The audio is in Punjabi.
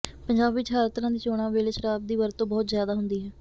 ਪੰਜਾਬ ਵਿਚ ਹਰ ਤਰ੍ਹਾਂ ਦੀ ਚੋਣਾਂ ਵੇਲੇ ਸ਼ਰਾਬ ਦੀ ਵਰਤੋਂ ਬਹੁਤ ਜ਼ਿਆਦਾ ਹੁੰਦੀ ਹੈ